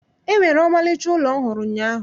E nwere ọmarịcha ụlọ m hụrụ ụnyaahụ